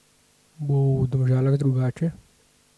Bo v Domžalah drugače?